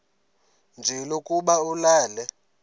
nje lokuba ulale